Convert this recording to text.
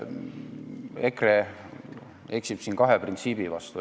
EKRE eksib siin kahe printsiibi vastu.